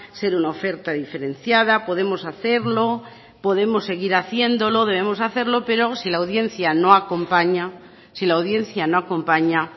ser una oferta diferenciada podemos hacerlo podemos seguir haciéndolo debemos hacerlo pero si la audiencia no acompaña si la audiencia no acompaña